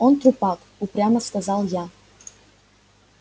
он трупак упрямо сказал я